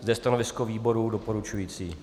Zde je stanovisko výboru doporučující.